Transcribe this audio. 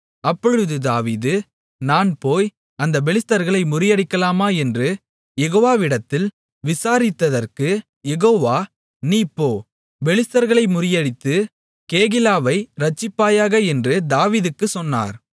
அப்பொழுது தாவீது நான் போய் அந்தப் பெலிஸ்தர்களை முறியடிக்கலாமா என்று யெகோவாவிடத்தில் விசாரித்ததற்கு யெகோவா நீ போ பெலிஸ்தர்களை முறிய அடித்து கேகிலாவை இரட்சிப்பாயாக என்று தாவீதுக்குச் சொன்னார்